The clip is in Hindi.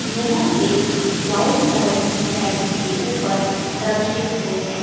यह एक वाइट कलर की टाइल्स के ऊपर रखे हुए हैं।